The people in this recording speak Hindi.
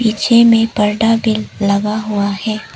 पीछे में परदा भी लगा हुआ है।